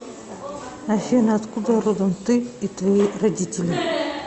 афина откуда родом ты и твои родители